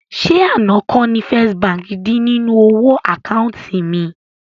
Ṣé àná kọ́ ni First Bank dín nínú owó àkáùntì mi?